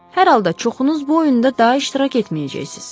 Hər halda çoxunuz bu oyunda daha iştirak etməyəcəksiz.